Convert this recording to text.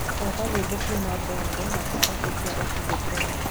thaka nyĩmbo kũũma bongo na taarabũ cĩa otile brown